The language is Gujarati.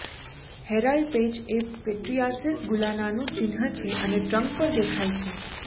હેરાલ્ડ પેચ એ પીટ્રીયાસીસ ગુલાનાનું ચિહ્ન છે અને ટ્રંક પર દેખાય છે